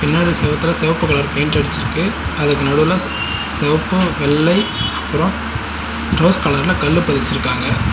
பின்னாடி செவத்துல சிவப்பு கலர் பெயிண்ட் அடிச்சுருக்கு அதுக்கு நடுவுல சிவப்பு வெள்ளை அப்பற ரோஸ் கலர்ல கல்லு பதிச்சுருக்காங்க.